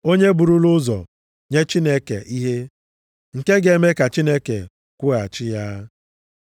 “Onye burula ụzọ nye Chineke ihe, nke ga-eme ka Chineke kwụghachi ya?” + 11:35 \+xt Job 41:11\+xt*